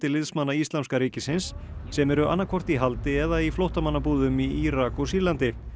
liðsmanna Íslamska ríkisins sem eru annað hvort í haldi eða í flóttamannabúðum í Írak og Sýrlandi